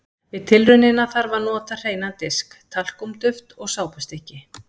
Við tilraunina þarf að nota hreinan disk, talkúm-duft og sápustykki.